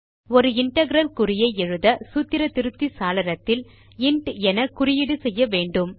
ஒரு இன்டெக்ரல் குறியை ஐ எழுத சூத்திர திருத்தி சாளரத்தில் இன்ட் என குறியீடு செய்ய வேண்டும்